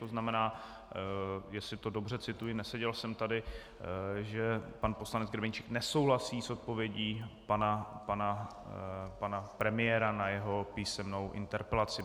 To znamená, jestli to dobře cituji, neseděl jsem tady, že pan poslanec Grebeníček nesouhlasí s odpovědí pana premiéra na jeho písemnou interpelaci.